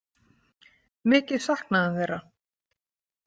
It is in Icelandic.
Mikið saknaði hann þeirra.